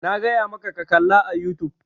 Na gaya maka ka kalla a youtube!